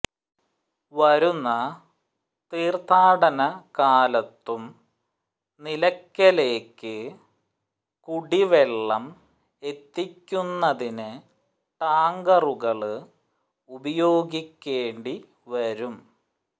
വരുന്ന തീര്ഥാടന കാലത്തും നിലയ്ക്കലേക്ക് കുടിവെള്ളം എത്തിക്കുന്നതിന് ടാങ്കറുകള് ഉപയോഗിക്കേണ്ടി വരും